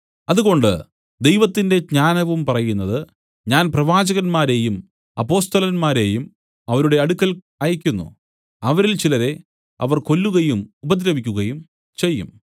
അതുകൊണ്ട് ദൈവത്തിന്റെ ജ്ഞാനവും പറയുന്നത് ഞാൻ പ്രവാചകന്മാരെയും അപ്പൊസ്തലന്മാരെയും അവരുടെ അടുക്കൽ അയയ്ക്കുന്നു അവരിൽ ചിലരെ അവർ കൊല്ലുകയും ഉപദ്രവിക്കുകയും ചെയ്യും